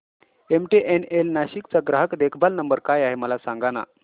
MTNL Nashik चा ग्राहक देखभाल नंबर काय आहे मला सांगाना